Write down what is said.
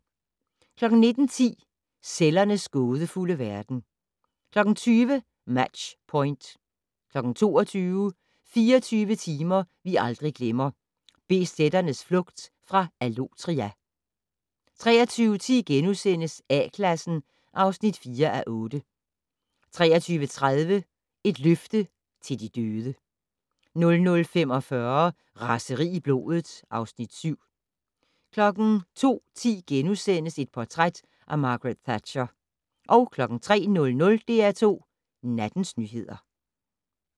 19:10: Cellernes gådefulde verden 20:00: Match Point 22:00: 24 timer vi aldrig glemmer - BZ'ernes flugt fra Allotria 23:10: A-Klassen (4:8)* 23:30: Et løfte til de døde 00:45: Raseri i blodet (Afs. 7) 02:10: Portræt af Margaret Thatcher * 03:00: DR2 Nattens nyheder